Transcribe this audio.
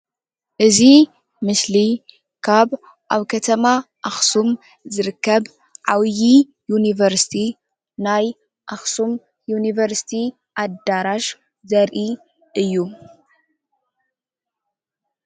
እዚ ምስሊ ካብ አብ ከተማ አክሱም ዝርከብ ዓብዩ ዩኒቨርስቲ ናይ አክሱም ዩኒቨርስቲ አደራሽ ዘርኢ እዩ፡፡